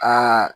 Aa